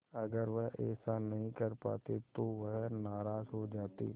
अगर वह ऐसा नहीं कर पाते तो वह नाराज़ हो जाते